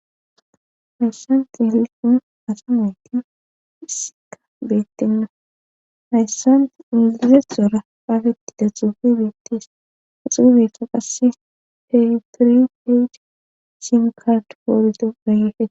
Hayssan xilikkun asa mayti issika beettinno hayssant ilize xora qaafetti da xuufi biittis uxuubeka qasse heitori peyd cim kat poordo rayefe